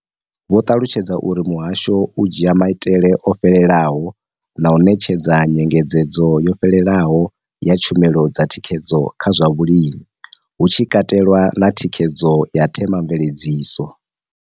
Vho ṱalutshedza uri muhasho u dzhia maitele o fhelelaho na u ṋetshedza nyengedzedzo yo fhelelaho ya tshumelo dza thikhedzo kha zwa vhulimi, hu tshi katelwa na thikhedzo ya themamveledziso.